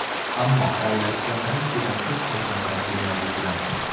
Ammo oilasida birin-ketin qiz farzandlar dunyoga keladi.